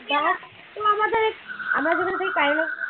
bus তো আমাদের